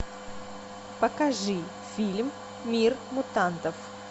покажи фильм мир мутантов